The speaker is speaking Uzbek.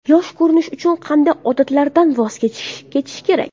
Yosh ko‘rinish uchun qanday odatlardan voz kechish kerak?.